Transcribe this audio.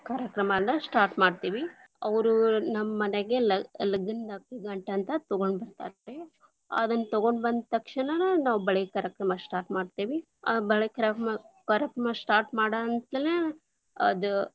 ಕಾರ್ಯಕ್ರಮನ start lang:Foreign ಮಾಡ್ತೇವಿ, ಅವರು ನಮ್ಮನೆಗೆ ಲ~ ಲಗ್ಗನದ ಅಕ್ಕಿ ಗಂಟ್ ಅಂತ ತಗೊಂಬರ್ತಾರ ರಿ, ಅದನ್ನು ತಗೊಂಡು ಬಂದು ತಕ್ಷಣನ ನಾವು ಬಳೆ ಕಾರ್ಯಕ್ರಮನ start lang:Foreign ಮಾಡ್ತೀವಿ, ಆ ಬಳಿಕ ಕಾರ್ಯಕ್ರಮ start lang:Foreign ಮಾಡಂತಲೇನ, ಅದ.